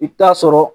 I bɛ taa sɔrɔ